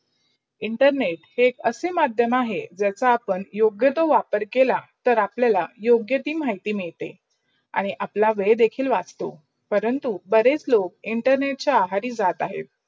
internet हे असे मधयम अहे जायचा आपण योग तो वापर केला तर अपलायाल यौगती माहिती मिडते. आणी अप्लाया वेड देखील वाजतो. परंतु बरेच लोक internet चा आहारी जात आहेत.